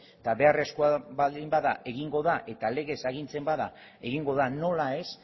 eta beharrezkoa baldin bada egingo da eta legez agintzen bada egingo da nola ez